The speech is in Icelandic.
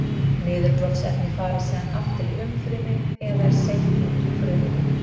Niðurbrotsefni fara síðan aftur í umfrymi eða er seytt út úr frumunni.